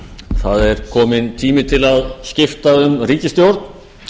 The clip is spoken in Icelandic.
það er kominn tími til að skipta um ríkisstjórn